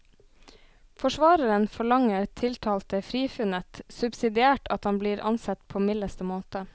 Forsvareren forlanger tiltalte frifunnet, subsidiært at han blir ansett på mildeste måte.